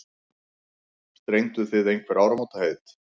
Strengduð þið einhver áramótaheit?